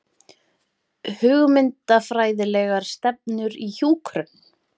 Hugmyndafræðilegar stefnur í hjúkrun